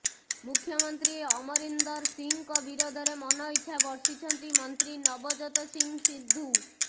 ମୁଖ୍ୟମନ୍ତ୍ରୀ ଅମରିନ୍ଦର ସିଂହଙ୍କ ବିରୋଧରେ ମନଇଚ୍ଛା ବର୍ଷିଛନ୍ତି ମନ୍ତ୍ରୀ ନବଜୋତ ସିଂହ ସିଦ୍ଧୁ